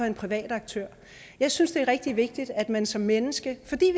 en privat aktør jeg synes det er rigtig vigtigt at man som menneske fordi